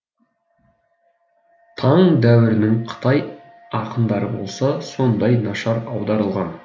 таң дәуірінің қытай ақындары болса сондай нашар аударылған